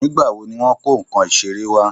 Nígbà wo ni wọ́n kó nǹkan iṣere wa?